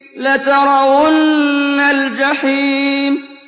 لَتَرَوُنَّ الْجَحِيمَ